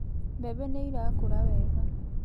Mbembe nĩ irakũra wega.